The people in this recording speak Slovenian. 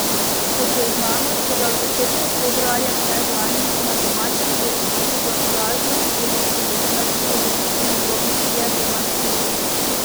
Kot je znano, so ga v začetku februarja predlani na domačem dvorišču v Oražnovi ulici do smrti ogrizli njegovi trije bulmastifi.